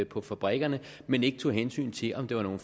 på fabrikkerne men ikke tog hensyn til om det var nogle